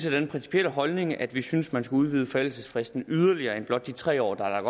af den principielle holdning at vi synes at man skal udvide forældelsesfristen yderligere end blot de tre år der er